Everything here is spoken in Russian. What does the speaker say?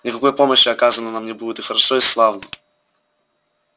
никакой помощи оказано нам не будет и хорошо и славно